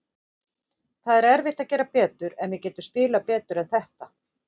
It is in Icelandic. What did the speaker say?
Það er erfitt að gera betur, en við getum spilað betur en þetta.